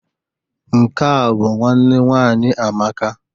Nke a bụ nwanne nwaanyị Amaka.